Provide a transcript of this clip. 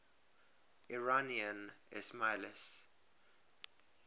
iranian ismailis